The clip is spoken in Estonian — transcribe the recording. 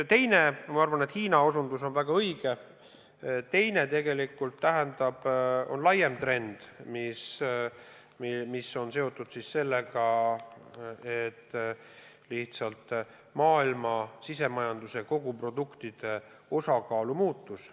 Ma arvan, et osutus Hiinale on väga õige, aga on ka teine laiem trend, mis on seotud sellega, et maailma riikide sisemajanduse koguproduktide osakaalud on muutunud.